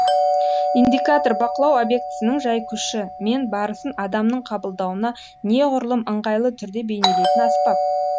индикатор бақылау объектісінің жайкүші мен барысын адамның қабылдауына неғұрлым ыңғайлы түрде бейнелейтін аспап